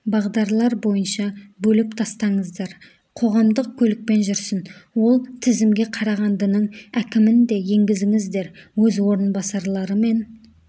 бағдарлар бойынша бөліп тастаңыздар қоғамдық көлікпен жүрсін ол тізімге қарағандының әкімін де енгізіңіздер өз орынбасарларымен